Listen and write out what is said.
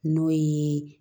N'o ye